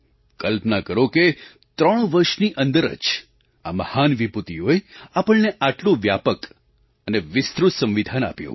કલ્પના કરો કે ત્રણ વર્ષની અંદર જ આ મહાન વિભૂતિઓએ આપણને આટલું વ્યાપક અને વિસ્તૃત સંવિધાન આપ્યું